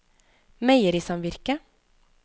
meierisamvirket